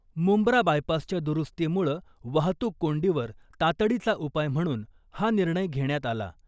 मुंब्रा बायपासच्या दुरुस्तीमुळं वाहतूक कोंडीवर तातडीचा उपाय म्हणून हा निर्णय घेण्यात आला .